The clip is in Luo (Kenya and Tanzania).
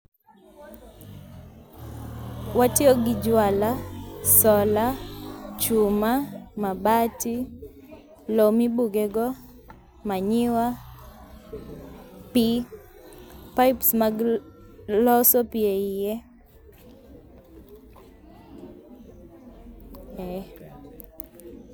Watiyogi jwala, solar, chuma, mabati, loo mibugego, manure pii pipes mag loso pii eiye ee.